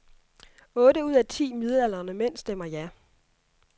Otte ud af ti midaldrende mænd stemmer ja.